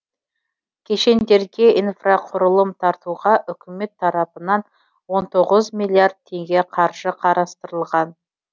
кешендерге инфрақұрылым тартуға үкімет тарапынан он тоғыз миллиард теңге қаржы қарастырылған